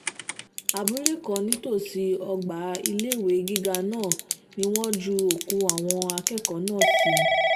abúlé kan nítòsí ọgbà iléèwé gíga náà ni wọ́n ju òkú àwọn akẹ́kọ̀ọ́ náà sí